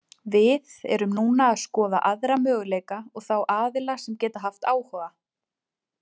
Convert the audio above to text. Við erum núna að skoða aðra möguleika og þá aðila sem geta haft áhuga.